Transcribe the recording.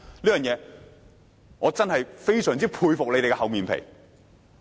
就此，我真的非常佩服他們的厚面皮。